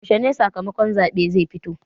Yaushe sakamakon zaɓen zai fito?